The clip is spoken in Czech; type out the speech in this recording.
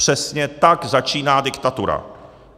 Přesně tak začíná diktatura.